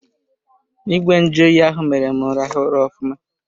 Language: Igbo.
Ìgwè nju oyi ahụ mere m rahụ ụra ofụma.